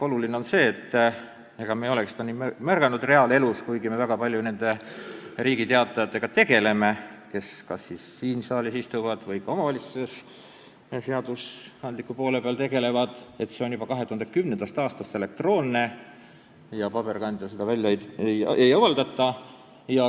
Oluline on siin see, mida me ei olegi nii väga reaalelus märganud, kuigi need, kes kas siin saalis istuvad või ka omavalitsuses seadusandliku poolega tegelevad, väga palju neid Riigi Teatajaid kasutavad, et Riigi Teataja on juba 2010. aastast elektroonne ja paberkandjal seda ei avaldata.